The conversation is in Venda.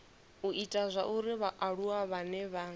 u ita zwauri vhaaluwa vhane